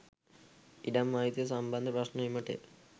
ඉඩම් අයිතිය සම්බන්ධ ප්‍රශ්න එමටය.